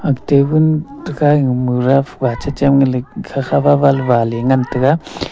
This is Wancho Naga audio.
tabul tekha e mura wache che me lep khakha wa wa le wa le ngan tega.